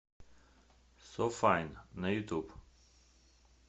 со файн на ютуб